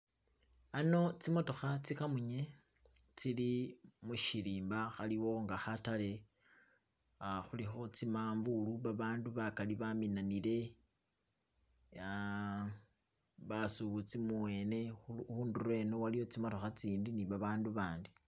ano tsimotokha tsikamunye tsili mushirimba khaliwo nga khatale khulikho tsimavulu babandu bakali baminanile ah basubuzi mubwene khundulo eno waliwo tsimitokha tsitsindi ni babandu babandi.